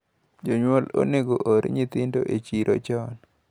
Jonyuol onego oor nyithindo e chiro chon.